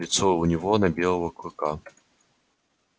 лицо у него на белого клыка